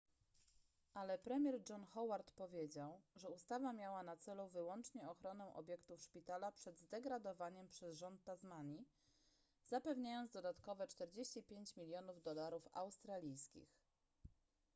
ale premier john howard powiedział że ustawa miała na celu wyłącznie ochronę obiektów szpitala przed zdegradowaniem przez rząd tasmanii zapewniając dodatkowe 45 milionów dolarów australijskich